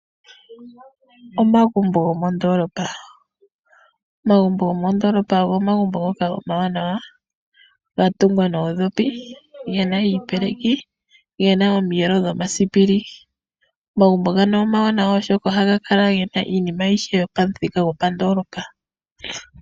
Omagumbo gomondoolopa ogo omagumbo omawanawa noonkondo, oshoka ohaga kala ga tungwa noodhopi, go oge na iipeleki kombanda nomiyelo dhomasipili. Ohaga kala taga monika nawa oshoka ohaga kala ge na iinima ayihe yopandoolopa.